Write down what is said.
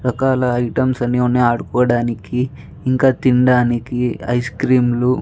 items అని వున్నాయ్ ఆడుకోడానికి ఇంక తిండానికి ఐస్ క్రీమ్స్ --